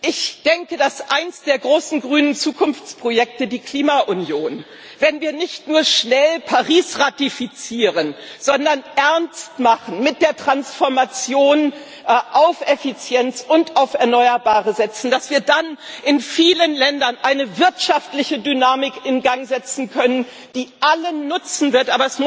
Ich denke, dass wir mit einem der großen grünen Zukunftsprojekte, der Klima Union unter der Voraussetzung, dass wir nicht nur schnell Paris ratifizieren, sondern Ernst machen mit der Transformation und auf Effizienz und auf Erneuerbare setzen in vielen Ländern eine wirtschaftliche Dynamik in Gang setzen können, die allen nutzen wird.